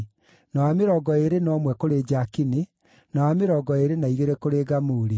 na wa mĩrongo ĩĩrĩ na ũmwe kũrĩ Jakini, na wa mĩrongo ĩĩrĩ na igĩrĩ kũrĩ Gamuli,